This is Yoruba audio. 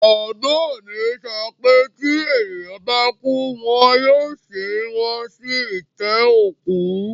Bàbá mi sọ pé tí ènìyàn bá kú, wọn yóò sin wọ́n sí itẹ́ òkú